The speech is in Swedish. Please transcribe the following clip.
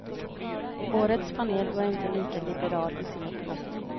Årets panel var inte lika liberal i sin uppfattning.